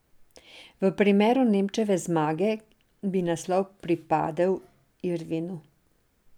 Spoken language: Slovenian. V primeru Nemčeve zmage, bi naslov pripradel Irvinu.